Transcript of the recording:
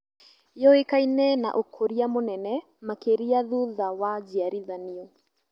Yũĩkaine na ũkũria mũnene makĩria thutha wa njiarithanio